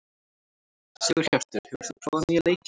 Sigurhjörtur, hefur þú prófað nýja leikinn?